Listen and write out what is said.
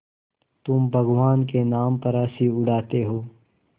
तुम भगवान के नाम पर हँसी उड़ाते हो